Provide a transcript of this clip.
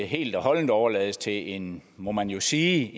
helt og holdent overlades til en må man jo sige